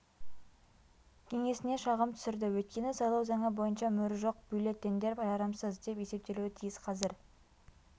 кеңесіне шағым түсірді өйткені сайлау заңы бойынша мөрі жоқ бюллетендер жарамсыз деп есептелуі тиіс қазір